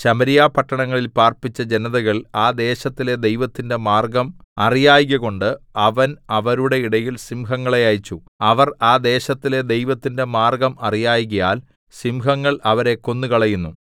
ശമര്യാപട്ടണങ്ങളിൽ പാർപ്പിച്ച ജനതകൾ ആ ദേശത്തിലെ ദൈവത്തിന്റെ മാർഗ്ഗം അറിയായ്കകൊണ്ട് അവൻ അവരുടെ ഇടയിൽ സിംഹങ്ങളെ അയച്ചു അവർ ആ ദേശത്തിലെ ദൈവത്തിന്റെ മാർഗ്ഗം അറിയായ്കയാൽ സിംഹങ്ങൾ അവരെ കൊന്നുകളയുന്നു